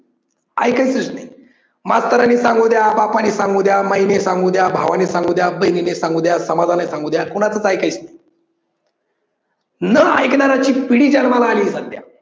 ऐकायचंच नाही. मास्तरांनी सांगुदया, बापाने सांगुदया, बाईने सांगुदया, भावाने सांगुदया, बहिणीने सांगुदया, समाजाने सांगुदया, कोणाचच ऐकायचं नाही. न ऐकणाऱ्याची पिढी जन्माला आलीये सध्या